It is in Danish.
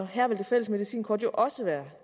her vil det fælles medicinkort også være